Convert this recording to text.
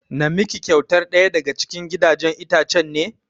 Na miki kyautar ɗaya daga cikin gidajen itchen ne?